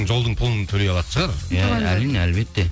жолдың пұлын төлей алатын шығар әрине әлбетте